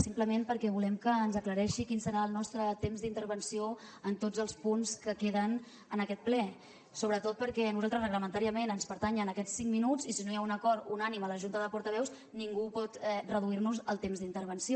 simplement perquè volem que ens aclareixi quin serà el nostre temps d’intervenció en tots els punts que queden en aquest ple sobretot perquè a nosaltres reglamentàriament ens pertanyen aquests cinc minuts i si no hi ha un acord unànime a la junta de portaveus ningú pot reduir nos el temps d’intervenció